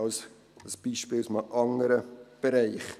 dies ein Beispiel aus einem anderen Bereich.